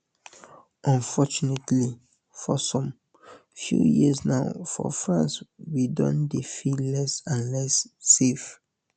unfortunately for some few years now for france we don dey feel less and less safe